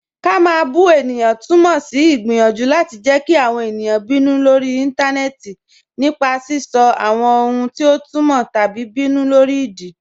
Ká má bù è̩yàn tùmọ sí igbiyanjú láti jẹ́ kí àwọn è̩niyàn bínú lórí ìntanẹẹ̀tì nípa sisọ̀ àwọn ohun ti ọ tùmọ́ tabí ìbínú lórí ìdí.